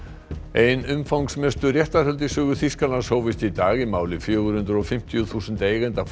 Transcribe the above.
ein umfangsmestu réttarhöld í sögu Þýskalands hófust í dag í máli fjögur hundruð og fimmtíu þúsund eigenda